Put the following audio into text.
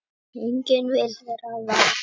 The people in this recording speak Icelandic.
Enginn vill vera varamaður